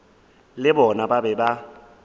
le bona ba be ba